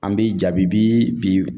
An bi jabibi bi